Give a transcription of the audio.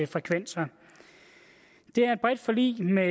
frekvenser det er et bredt forlig med